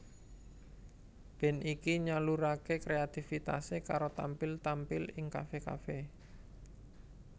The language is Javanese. Band iki nyaluraké kreatifitasé karo tampil tampil ing kafe kafe